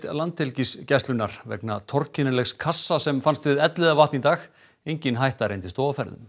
Landhelgisgæslunnar vegna kassa sem fannst við Elliðavatn í dag engin hætta reyndist þó á ferðum